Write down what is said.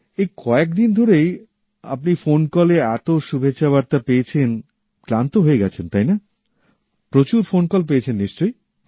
এই কয়েক দিন ধরে আপনি ফোন কলে এতো শুভেচ্ছাবার্তা পেয়েছেন যে ক্লান্ত হয়ে গেছেন তাই না প্রচুর ফোন কল পেয়েছেন নিশ্চয়ই